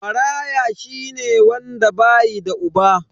Maraya shine wanda bayi da uba.